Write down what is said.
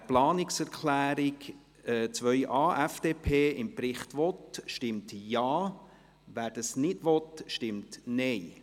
Wer die Planungserklärung 2.a, FDP, im Bericht haben will, stimmt Ja, wer dies nicht will, stimmt Nein.